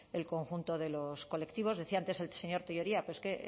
el conjunto de los colectivos decía antes el señor tellería pero es que